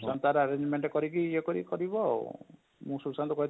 ସୁଶାନ୍ତ ତାର agreement କରି କି ଇଏ କରି କରିବ ଆଉ ଅଁ ମୁଁ ସୁଶାନ୍ତ କୁ କହି